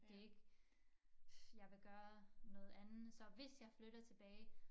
Det ikke jeg vil gøre noget andet så hvis jeg flytter tilbage